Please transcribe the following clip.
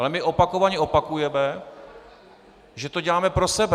Ale my opakovaně opakujeme, že to děláme pro sebe.